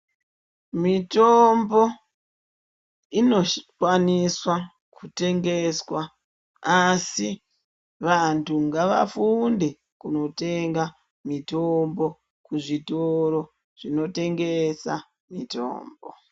Mitombo inokwaniswa kutengeswa. Asi vantu ngavafunde kunotenga mitombo kuzvitoro zvinotengesa mitombo.